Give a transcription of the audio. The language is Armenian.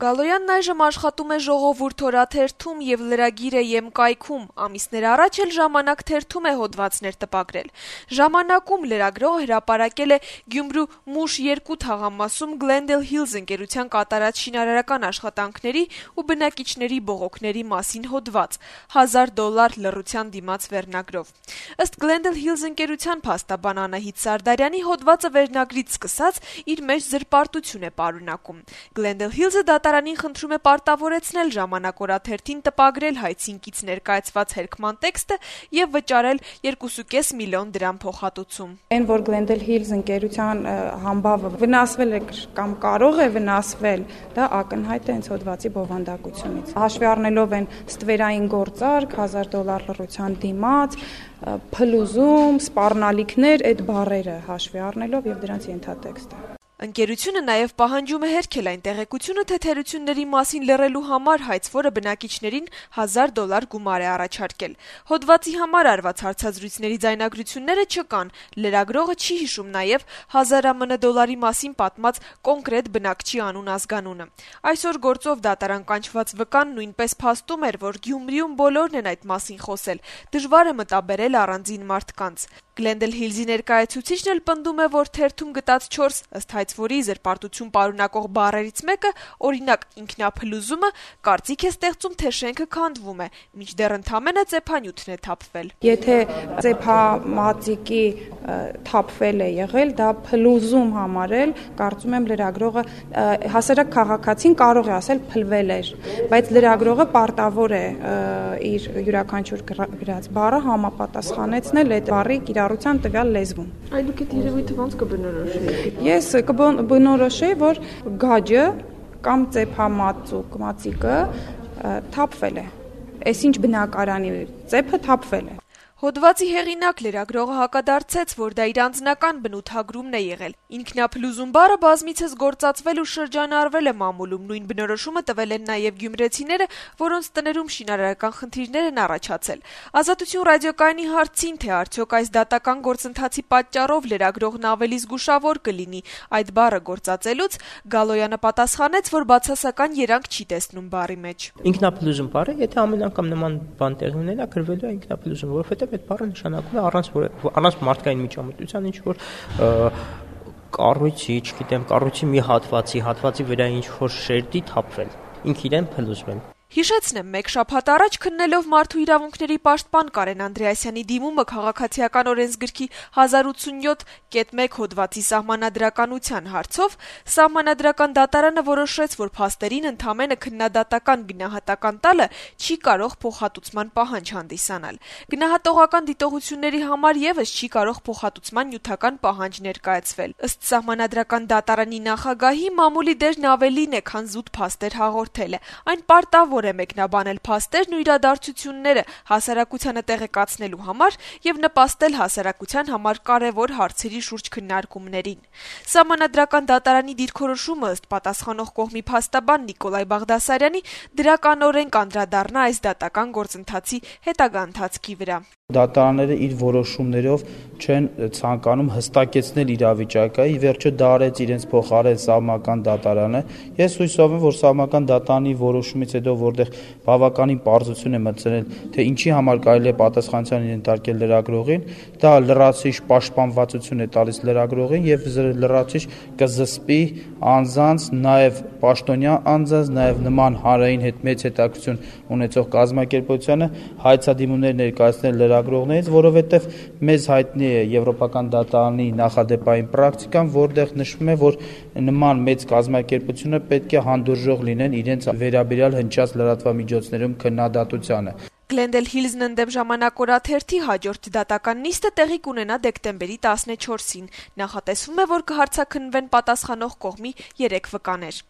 Գալոյանն, ով այժմ աշխատում է «Ժողովուրդ» օրաթերթում եւ lragir.am կայքում, ամիսներ առաջ էլ «Ժամանակ» թերթում էր հոդվածներ տպագրում: «Ժամանակ»-ում լրագրողը հրապարակել է Գյումրու Մուշ-2 թաղամասում «Գլենդել Հիլզ» ընկերության կատարած շինարարական աշխատանքների ու բնակիչների բողոքների մասին հոդված` «1000 դոլար լռության դիմաց» վերնագրով: Ըստ ընկերության փաստաբան Անահիտ Սարդարյանի` հոդվածը վերնագրից սկսած իր մեջ զրպարտություն է պարունակում: «Այն, որ «Գլենդել Հիլզ» ընկերության համբավը վնասվել է կամ կարող է վնասվել, դա ակնհայտ է հենց հոդվածի բովանդակությունից` հաշվի առնելով «ստվերային գործարք», «1000 դոլար լռության դիմաց», «փլուզում», «սպառնալիքներ» բառերը եւ դրանց ենթատեքստը», - ասաց Սարդարյանը: Ընկերությունը նաեւ պահանջում է հերքել այն տեղեկությունը, թե թերությունների մասին լռելու համար հայցվորը բնակիչներին 1000 դոլար գումար է առաջարկել: Հոդվածի համար արված հարցազրույցների ձայնագրությունները չկան, լրագրողը չի հիշում նաեւ 1000 ԱՄՆ դոլարի մասին պատմած կոնկրետ բնակչի անուն ազգանունը: Այսօր գործով դատարան կանչված վկան նույնպես փաստում էր, որ Գյումրիում բոլորն են այդ մասին խոսել, դժվար է մտաբերել առանձին մարդկանց: «Գլենդել Հիլզ»-ի ներկայացուցիչը պնդում է, որ թերթում տեղ գտած 4, ըստ ընկերության, զրպարտություն պարունակող բառերից մեկը, օրինակ, ինքնափլուզումը, կարծիք է ստեղծում, թե շենքը քանդվում է, մինչդեռ ընդամենը ծեփանյութն է թափվել: «Եթե ծեփամածիկն է թափվել, կարծում եմ, հասարակ քաղաքացին կարող է ասել, փլվել էր, բայց լրագրողը պարտավոր է իր յուրաքանչյուր գրած բառը համապատասխանեցնել այդ բառի կիրառությանը տվյալ լեզվում», - ասաց Սարդարյանը: Հոդվածի հեղինակ լրագրողը հակադարձեց, որ դա իր անձնական բնութագրումն է եղել: Ինքնափլուզում վառը բազմիցս գործածվել ու շրջանառվել է մամուլում, նույն բնորոշումը տվել են նաեւ գյումրեցիները, որոնց տներում շինարարական խնդիրներ են առաջացել: «Ազատություն» ռադիոկայանի հարցին, թե արդյո՞ք այս դատական գործընթացի պատճառով լրագրողն ավելի զգուշավոր կլինի այդ բառը գործածելուց, Գալոյանը պատասխանեց, որ բացասական երանգ չի տեսնում բառի մեջ, այն բնորոշում է այն, ինչ ինքը տեսել է «Գլենդել Հիլզ»-ի կառուցած բնակարաններում: «Եթե ամեն անգամ նման բան տեղի ունենա, գրվելու է ինքափլուզում, որովհետեւ դա նշանակում է առանց որեւէ մարդկային միջամտության կառույցի, կառույցի ինչ-որ հատվածի շերտի թափվելը, ինքն իրեն փլուզվել», - ասաց Գալոյանը: Հիշեցնենք, որ մեկ շաբաթ առաջ քննելով Մարդու իրավունքների պաշտպան Կարեն Անդրեասյանի դիմումը Քաղաքացիական օրենսգրքի 1087.1 հոդվածի սահմանադրականության հարցով` Սահմանադրական դատարանը որոշեց, որ փաստերին ընդամենը քննադատական գնահատական տալը չի կարող փոխհատուցման պահանջ հանդիսանալ: Գնահատողական դատողությունների համար եւս չի կարող փոխհատուցման նյութական պահանջ ներկայացվել, ըստ ՍԴ-ի նախագահի` մամուլի դերն ավելին է, քան զուտ փաստեր հաղորդելը: Այն պարտավոր է մեկնաբանել փաստերն ու իրադարձությունները` հասարակությանը տեղեկացնելու համար եւ նպաստել հասարակության համար կարեւոր հարցերի շուրջ քննարկումներին: Սահմանադրական դատարանի դիրքորոշումը ըստ պատասխանող կողմի փաստաբան Նիկոլայ Բաղդասարյանի դրականորեն կանդրադառնա այս դատական գործի հետագա ընթացքի վրա: «Դատարանները իրենց որոշումներով չեն ցանկանում հստակեցնել իրավիճակը, ի վերջո դա իրենց փոխարեն արեց ՍԴ-ն: Ես հուսով եմ, որ այդ որոշումը, որտեղ բավականին պարզություն է մտցվել, թե ինչի համար կարելի է պատասխանատվության ենթարկել լրագրողին, լրացուցիչ պաշտպանվածություն է տալիս լրագրողին, եւ լրացուցիչ կզսպի անձանց, նաեւ պաշտոնյաներին, հանրային մեծ հետաքրքրություն ունեցող կազմակերպություններին, որովհետեւ մեզ հայտնի է Եվրոպական դատարանի պրակտիկան, որտեղ նշվում է, որ նման մեծ կազմակերպություններ պետք է հանդուրժող լինեն իրենց վերաբերյալ լրատվամիջոցներում հնչած քննադատությանը», - ասաց Բաղդասարյանը: «Գլենդել Հիլզ»-ն ընդդեմ «Ժամանակ» օրաթերթի հաջորդ դատական նիստը տեղի կունենա դեկտեմբերի 14-ին: Նախատեսվում է, որ կհարցաքննվեն պատասխանող կողմի 3 վկաներ: